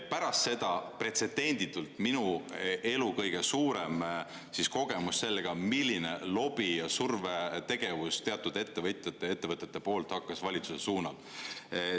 Pärast seda pretsedenditult minu elu kõige suurem kogemus sellega, milline lobi ja survetegevus teatud ettevõtjate ja ettevõtete poolt hakkas valitsuse suunal.